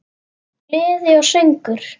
Gleði og söngur.